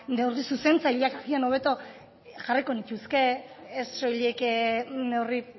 neurri zuzentzaileak agian hobeto jarriko nituzke ez soilik neurri